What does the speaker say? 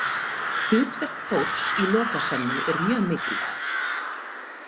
Hlutverk Þórs í Lokasennu er mjög mikilvægt.